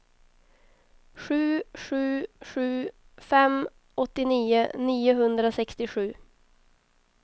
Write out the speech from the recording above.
sju sju sju fem åttionio niohundrasextiosju